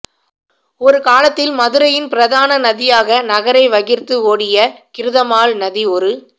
ஒருகாலத்தில் மதுரையின் பிரதான நதியாக நகரை வகிர்ந்து ஓடிய கிருதமால் நதி ஒரு